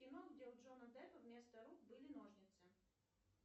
кино где у джона деппа вместо рук были ножницы